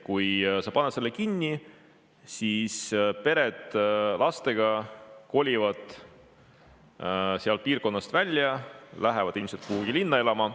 Kui sa paned kooli kinni, siis lastega pered kolivad sealt piirkonnast ära, lähevad ilmselt kuhugi linna elama.